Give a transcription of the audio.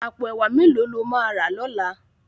Àpó èwá méló ló má rá lòlá?